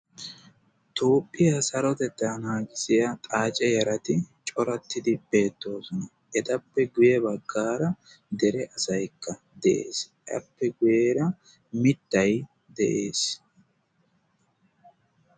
toopphiyaa sarotetta naagissiya xaace yarati corattidi beettoosona. etappe guyye baggaara dere asaykka de7ees. appe guyyeera mittay de7ees.